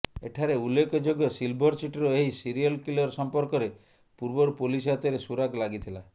ଏଠାରେ ଉଲ୍ଲେଖଯୋଗ୍ୟ ସିଲଭର ସିଟିର ଏହି ସିରିଏଲ କିଲର ସମ୍ପର୍କରେ ପୂର୍ବରୁ ପୋଲିସ ହାତରେ ସୁରାକ୍ ଲାଗିଥିଲା